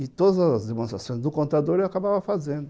E todas as demonstrações do contador eu acabava fazendo.